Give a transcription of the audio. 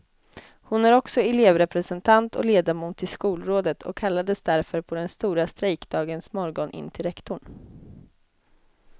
Hon är också elevrepresentant och ledamot i skolrådet och kallades därför på den stora strejkdagens morgon in till rektorn.